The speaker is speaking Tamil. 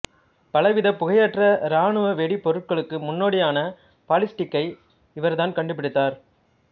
பலவித புகையற்ற ராணுவ வெடிபொருட்களுக்கு முன்னோடியான பாலிஸ்டிக்கை இவர்தான் கண்டுபிடித்தார்